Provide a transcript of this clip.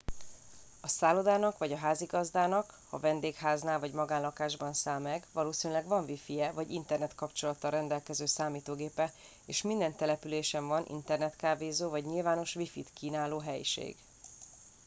a szállodának vagy a házigazdáknak ha vendégháznál vagy magánlakásban száll meg valószínűleg van wifije vagy internetkapcsolattal rendelkező számítógépe és minden településen van internetkávézó vagy nyilvános wifit kínáló helység